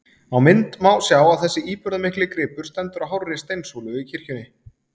Á mynd má sjá að þessi íburðarmikli gripur stendur á hárri steinsúlu í kirkjunni.